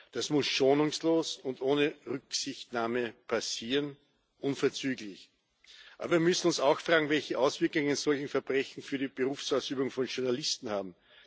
Das muss schonungslos und ohne Rücksichtnahme passieren, unverzüglich. Aber wir müssen uns auch fragen, welche Auswirkungen solche Verbrechen auf die Berufsausübung von Journalisten haben.